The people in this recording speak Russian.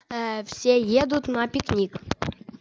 ё все едут на пикник